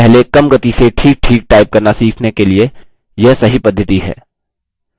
पहले कम it से ठीकठीक type करना सीखने के लिए यह सही पद्धति है